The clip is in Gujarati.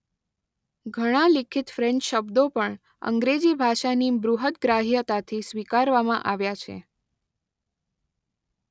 ઘણા લિખિત ફ્રેન્ચ શબ્દો પણ અંગ્રેજી ભાષાની બૃહતગ્રાહ્યતાથી સ્વીકારવામાં આવ્યા છે.